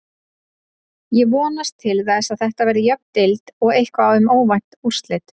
Ég vonast til þess að Þetta verði jöfn deild og eitthvað um óvænt úrslit.